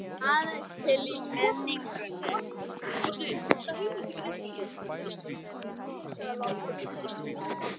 Hann er aðeins til í minningunni.